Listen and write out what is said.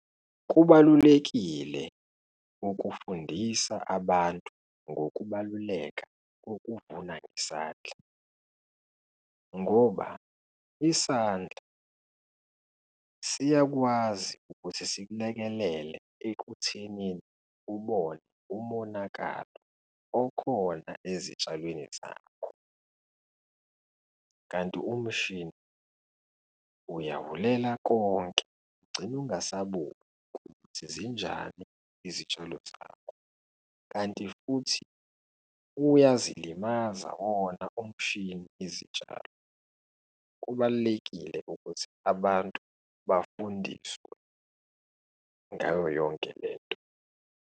Kubalulekile ukufundisa abantu ngokubaluleka kokuvuna ngesandla ngoba isandla siyakwazi ukuthi sikulekelele ekuthenini ubone umonakalo okhona ezitshalweni zakho, kanti umshini uyabulela konke, ugcine ungasaboni ukuthi zinjani izitshalo zakho, kanti futhi uyazilimaza wona umshini izitshalo. Kubalulekile ukuthi abantu bafundiswe ngayo yonke lento.